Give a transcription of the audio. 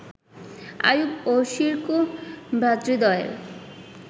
আইয়ুব ও শিরকুহ ভ্রাতৃদ্বয়ের